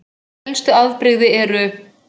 Helstu afbrigði eru